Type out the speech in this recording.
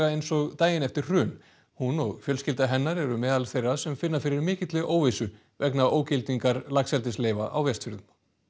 eins og daginn eftir hrun hún og fjölskylda hennar eru meðal þeirra sem finna fyrir mikilli óvissu vegna ógildingar laxeldisleyfa á Vestfjörðum